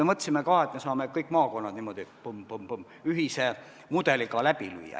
Me mõtlesime ka, et me saame kõik maakonnad niimoodi põmm, põmm, põmm ühise mudeliga läbi lüüa.